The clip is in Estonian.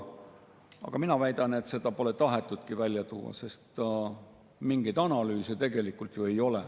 Aga mina väidan, et seda pole tahetudki välja tuua, sest mingeid analüüse tegelikult ju ei ole.